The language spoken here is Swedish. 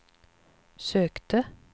sökte